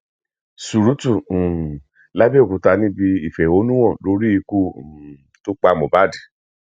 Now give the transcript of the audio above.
surutu um labẹòkúta níbi ìfẹhónúhàn lórí ikú um tó pa mohbad